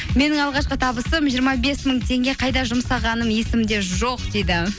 менің алғашқы табысым жиырма бес мың теңге қайда жұмсағаным есімде жоқ дейді